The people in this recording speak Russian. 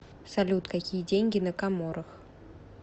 салют какие деньги на коморах